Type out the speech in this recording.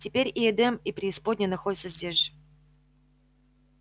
теперь и эдем и преисподняя находятся здесь же